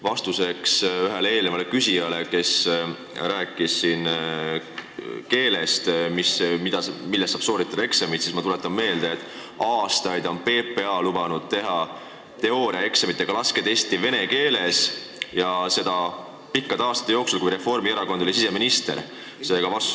Vastuseks ühele eelnevale küsijale, kes rääkis siin keelest, milles saab eksamit sooritada, tuletan ma meelde, et aastaid on PPA lubanud teha teooriaeksamit ja ka laskekatset vene keeles, seda nende pikkade aastate jooksul, kui Reformierakonna käes oli siseministri koht.